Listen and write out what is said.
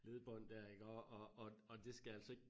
Ledbånd dér iggår og og og det skal altså ik